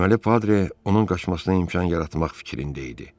Deməli Padre onun qaçmasına imkan yaratmaq fikrində idi.